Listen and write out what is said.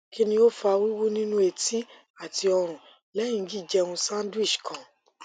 kini o fa wiwu ninu eti ati orun lehin ji jeun sandwich kan